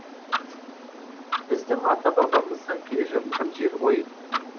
біздің ата бабамыздан келе жатқан жер ғой